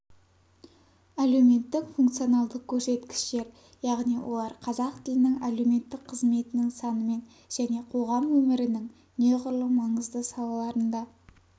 әлеуметтік функционалдық көрсеткіштер яғни олар қазақ тілінің әлеуметтік қызметінің санымен және қоғам өмірінің неғұрлым маңызды салаларында